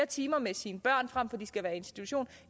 timer med sine børn fremfor at de skal være i institution